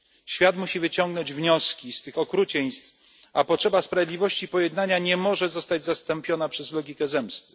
Świat musi wyciągnąć wnioski z tych okrucieństw, a potrzeba sprawiedliwości i pojednania nie może zostać zastąpiona przez logikę zemsty.